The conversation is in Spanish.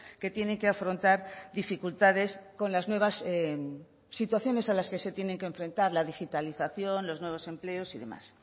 que tienen que afrontar dificultades con las nuevas situaciones a las que se tienen que enfrentar la digitalización los nuevos empleos y demás